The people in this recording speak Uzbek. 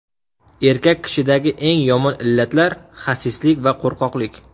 Erkak kishidagi eng yomon illatlar xasislik va qo‘rqoqlik.